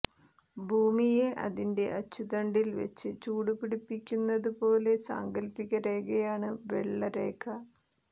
ഭൂമിയെ അതിന്റെ അച്ചുതണ്ടിൽ വെച്ച് ചൂടുപിടിപ്പിക്കുന്നതുപോലെ സാങ്കൽപ്പിക രേഖയാണ് വെള്ള രേഖ